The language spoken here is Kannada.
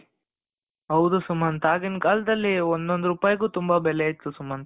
ಹೌದು ಸುಮಂತ್ ಆಗಿನ ಕಾಲದಲ್ಲಿ ಒಂದೊಂದು ರೂಪಾಯಿಗೂ ತುಂಬ ಬೆಲೆ ಇತ್ತು ಸುಮಂತ್,